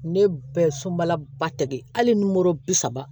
Ne bɛɛ sobala ba tɛ ye hali n'o bi saba